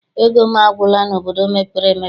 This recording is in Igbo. Ego m agwụla n'obodo mepere emepe.